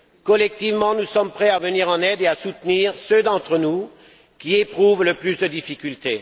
Collectivement, nous sommes prêts à venir en aide et à soutenir ceux d'entre nous qui éprouvent le plus de difficultés.